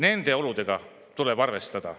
Neid olusid tuleb arvestada.